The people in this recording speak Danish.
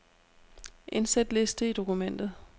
Indsæt liste i dokumentet.